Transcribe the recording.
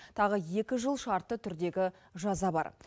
тағы екі жыл шартты түрдегі жаза бар